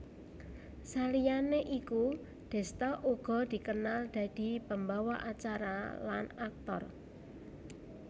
Saliyané iku Desta uga dikenal dadi pembawa acara lan aktor